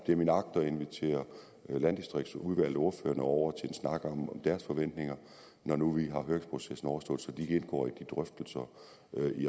det er min agt at invitere landdistriktsudvalget og ordførerne over til en snak om deres forventninger når nu høringsprocessen er overstået så de indgår i drøftelserne